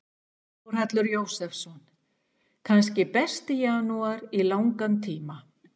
Þórhallur Jósefsson: Kannski besti janúar í langan tíma?